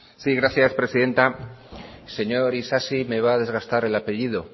sí gracias presidenta señor isasi me va a desgastar el apellido